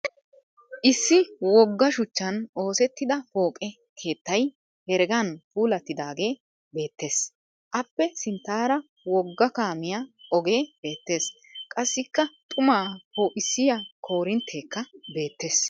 Issi wogga shuchchan oosettida pooqe keettay heregan puulattidaagee beettes. Appe sinttaara wogga kaamiya ogee beettes. Qassikka xumaa poo'issiya koorintteekka beettes